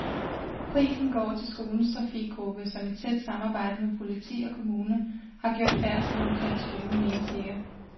Prisen går til skolens trafikgruppe, som i tæt samarbejde med politi og kommune har gjort færdslen omkring skolen mere sikker.